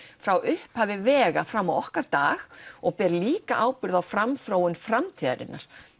frá upphafi vega fram á okkar dag og ber líka ábyrgð á framþróun framtíðarinnar